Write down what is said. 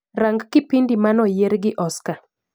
Rang kipindi manoyier gi Oscar